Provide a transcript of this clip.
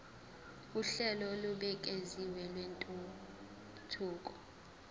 uhlelo olubukeziwe lwentuthuko